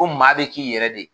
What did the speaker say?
Ko maa bɛ k'i yɛrɛ de ye